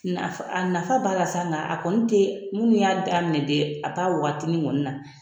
A nafa b'a la sa nka a kɔni tɛ minnu y'a daminɛ dɛ a t'a waatinin kɔni na